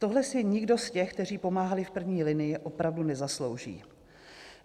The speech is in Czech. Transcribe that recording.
Tohle si nikdo z těch, kteří pomáhali v první linii, opravdu nezaslouží.